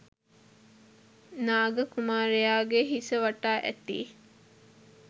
නාග කුමාරයාගේ හිස වටා ඇති